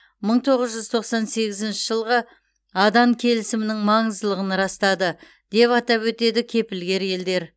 мың тоғыз жүз тоқсан сегізінші жылғы адан келісімінің маңыздылығын растады деп атап өтеді кепілгер елдер